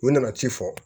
U nana ci fɔ